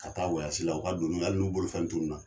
Ka taa wayasi la , u ka doni hali n'u bolofɛn tunun na.